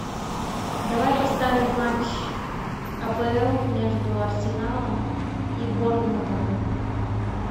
давай поставим матч апл между арсеналом и борнмутом